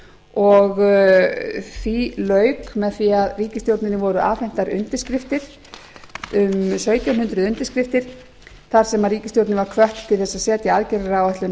og því lauk með því að ríkisstjórninni voru afhentar um sautján hundruð undirskriftir þar sem ríkisstjórnin var hvött til þess að setja aðgerðaáætlun